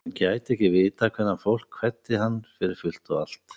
Hann gæti ekki vitað hvenær fólk kveddi hann fyrir fullt og allt.